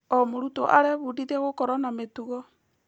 O mũrutwo arebundithia gũkorwo na mĩtugo.